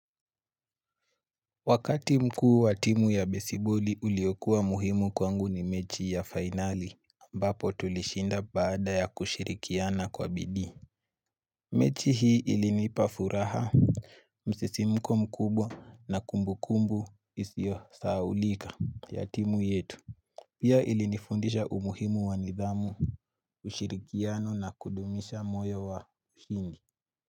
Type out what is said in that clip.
Wakati mkuu wa timu ya baseball uliokua muhimu kwangu ni mechi ya finali ambapo tulishinda baada ya kushirikiana kwa bidii mechi hii ilinipa furaha msisimuko mkubwa na kumbu kumbu isio sahaulika ya timu yetu Pia ilinifundisha umuhimu wa nidhamu ushirikiano na kudumisha moyo wa ushindi.